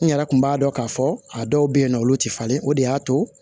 N yɛrɛ kun b'a dɔn k'a fɔ a dɔw bɛ yen nɔ olu tɛ falen o de y'a to